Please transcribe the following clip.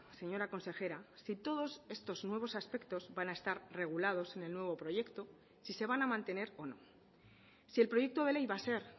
señora consejera si todos estos nuevos aspectos van a estar regulados en el nuevo proyecto si se van a mantener o no si el proyecto de ley va a ser